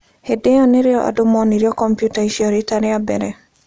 Hĩndĩ ĩyo nĩrĩo andũ monirio kompiuta icio riita rĩa mbere.